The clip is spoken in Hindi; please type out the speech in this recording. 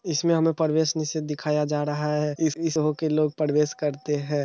इसमें हमें प्रवेश निषेध दिखाया जा रहा है इस-इस हो के लोग प्रवेश करते हैं।